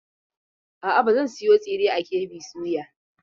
A'a, ba zan sayo tsiren a KB soya.